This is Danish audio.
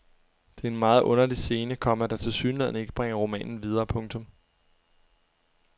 Det er en meget underlig scene, komma der tilsyneladende ikke bringer romanen videre. punktum